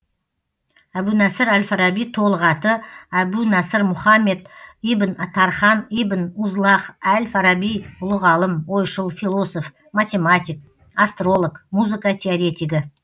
әбу насыр әл фараби толық аты әбу насыр мұхаммед ибн тархан ибн узлағ әл фараби ұлы ғалым ойшыл философ математик астролог музыка теоретигі